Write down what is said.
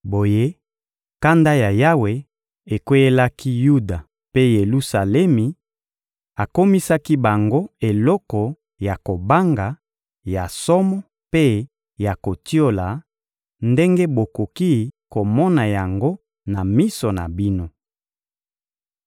Boye, kanda ya Yawe ekweyelaki Yuda mpe Yelusalemi, akomisaki bango eloko ya kobanga, ya somo mpe ya kotiola, ndenge bokoki komona yango na miso na bino.